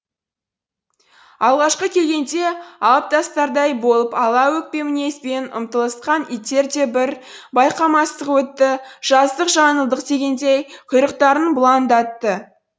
алғашқы келгенде алып тастардай болып ала өкпе мінезбен ұмтылысқан иттер де бір байқамастық өтті жаздық жаңылдық дегендей құйрықтарын бұлаңдатты